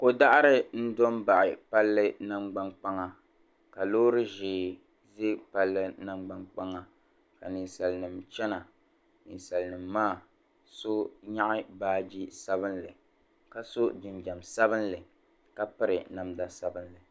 Ko' daɣiri n-do m-baɣi palli nangbaŋkpaŋa ka loori ʒee za palli nangbaŋkpaŋa ka ninsalinima chana. Ninsalinima maa so nyaɣi baaji sabilinli ka so jinjam sabilinli ka piri namda sabilinli.